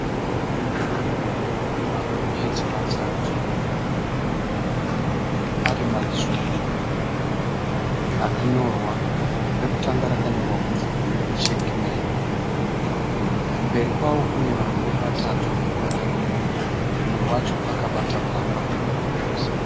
Magonyeti matatu ari matsvuku akanyorwa. Rekutanga rakanyorwa kunzi "SHACMAN" kumberi kwao kune varume vatatu vakamira umwe wacho akabata bhamba re gonyeti.